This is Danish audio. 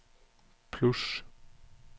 plus